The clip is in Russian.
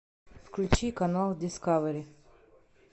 включи канал дискавери